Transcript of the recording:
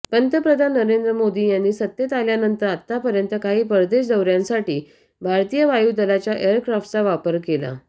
पंतप्रधान नरेंद्र मोद यांनी सत्तेत आल्यानंतर आतापर्यंत काही परदेश दौऱयांसाठी भारतीय वायूदलाच्या एअरक्राफ्टचा वापर केला